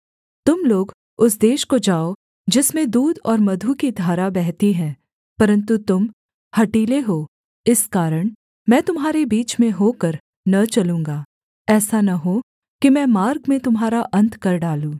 तुम लोग उस देश को जाओ जिसमें दूध और मधु की धारा बहती है परन्तु तुम हठीले हो इस कारण मैं तुम्हारे बीच में होकर न चलूँगा ऐसा न हो कि मैं मार्ग में तुम्हारा अन्त कर डालूँ